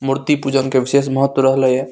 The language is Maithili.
मूर्ति पूजन के विशेष महत्व रहलय ये।